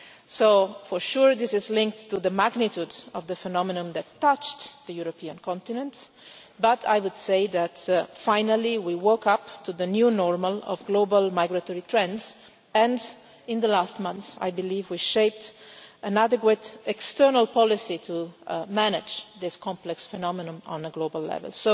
So for sure this is linked to the magnitude of the phenomenon that touched the European continent, but I would say that finally we woke up to the new normal' of global migratory trends and in the last months I believe we have shaped an adequate external policy to manage this complex phenomenon on a global level.